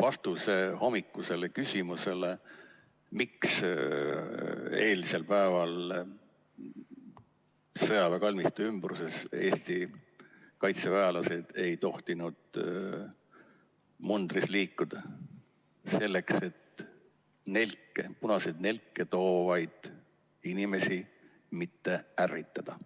vastuse hommikusele küsimusele, miks eilsel päeval sõjaväekalmistu ümbruses Eesti kaitseväelased ei tohtinud mundris liikuda: selleks, et punaseid nelke toovaid inimesi mitte ärritada.